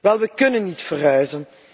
Wel, we kunnen niet verhuizen.